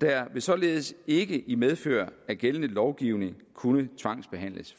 der vil således ikke i medfør af gældende lovgivning kunne tvangsbehandles